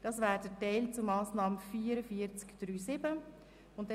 Dies betrifft die Massnahme 44.3.7.